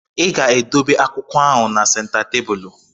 I ga-edobe akwụkwọ ahụ na senta tebụlụ?